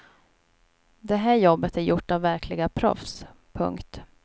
Det här jobbet är gjort av verkliga proffs. punkt